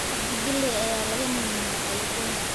Cabdi Geley ayaa laga mamnuucay Uganda.